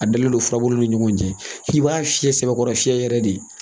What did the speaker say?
A dalen don furabuluw ni ɲɔgɔn cɛ i b'a fiyɛ sɛbɛkɔrɔ fiyɛ yɛrɛ de